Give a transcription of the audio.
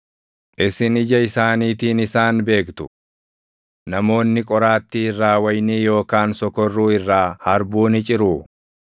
Isin ija isaaniitiin isaan beektu. Namoonni qoraattii irraa wayinii yookaan sokorruu irraa harbuu ni ciruu?